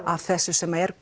af þessu sem er